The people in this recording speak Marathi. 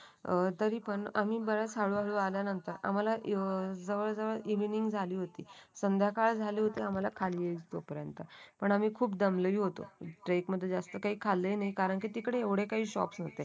अ तरी पण आम्ही बऱ्याच हळूहळू आल्यानंतर आम्हाला जवळजवळ इवनिग झाली होती. संध्याकाळ झाली होती आम्हाला खाली येईपर्यंत पण आम्ही खूप दमलोय होतो ट्रेक मध्ये जास्त खाल्ले नाही कारण की ते तिकडे एवढे काही शॉप नव्हते